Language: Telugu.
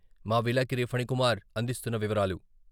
మా విలేకరి ఫణికుమార్ అందిస్తున్న వివరాలు.